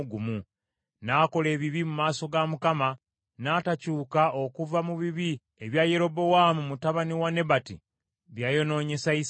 N’akola ebibi mu maaso ga Mukama , n’atakyuka okuva mu bibi ebya Yerobowaamu mutabani wa Nebati bye yayonoonyesa Isirayiri.